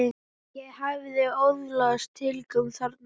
Ég hafði öðlast tilgang þarna.